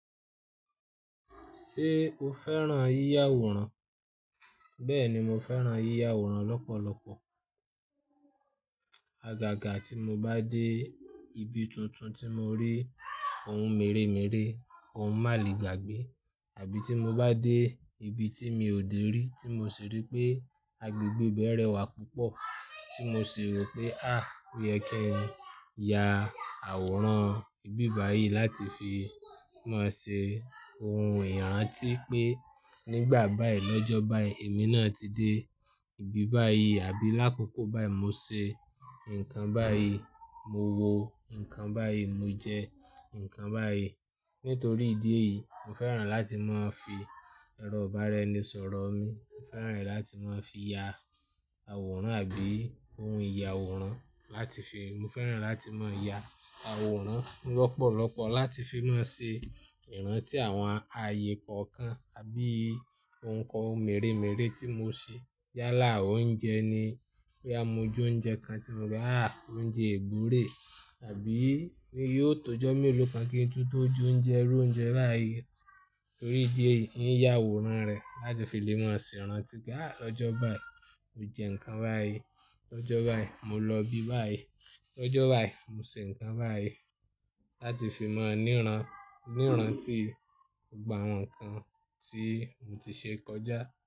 Ṣé o fẹ́ràn yíya àwòrán? Bẹ́ẹ̀ni, mo fẹ́ràn yíya àwòrán lọ́pọ̀lọpọ̀. Agaga tí mo bá dé ibi tuntun tí mo rí ohun mèremère, ohun màle gbagbe, àbí tí mo bá dé ibi tí mi ò dé rí tí mo sì rí pé agbègbè bẹ́ rẹ́wà púpọ̀, tí mo sì rò pé à, ó yẹ kí n ya àwòrán ibi báyìí láti fi máa ṣe ohun ìrántí pé nígbà báyìí, lọ́jọ́ báyìí èmi náà ti dé ibi báyìí àbí lákòókò báyìí mo ṣe nǹkan báyìí, mo wo nǹkan báyìí, mo jẹ nǹkan báyìí. Nítorí ìdí èyí, mo fẹ́ràn láti máa fi ẹrọ ìbáraẹnisọ̀rọ̀ mi, mo fẹ́ràn rẹ̀ láti máa fi ya àwòrán àbí ohun ìya àwòrán láti fi, mo fẹ́ràn láti máa ya àwòrán lọ́pọ̀lọpọ̀ láti fi máa ṣe ìrántí àwọn ààyè kọ̀ọ̀kan àbí ohun kan mèremère tí mo ṣe. Yálà oúnjẹ ni pé a mọjú oúnjẹ kan tí mo ri á oúnjẹ ìgbure àbí pé yóò tọ́jọ́ me lo kan kí n tú tó jẹ oúnjẹ, irú oúnjẹ báyìí. Nítorí ìdí èyí, ì ń ya àwòrán rẹ̀ láti fi lè máa ṣe ìrántí pé à lọ́jọ́ báyìí mo jẹ nǹkan báyìí, lọ́jọ́ báyìí mo lọ ibi báyìí, lọ́jọ́ báyìí mo ṣe nǹkan báyìí láti fi mọ̀ ní ìrántí ìgbà àwọn nǹkan tí mo ti ṣe kọjá.